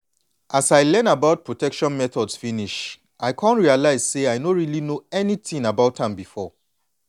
as i learn about protection methods finish i come realize say i no really know anything about am before.